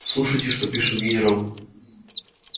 слушайте что пишет генерал